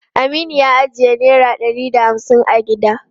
Aminu ya ajiye naira ɗari da hamsin a gida.